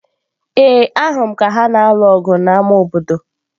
Ee, ahụrụ m ha ka ha na-alụ ọgụ n'ámá obodo.